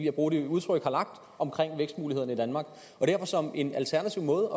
at bruge det udtryk har lagt omkring vækstmulighederne i danmark og derfor som en alternativ måde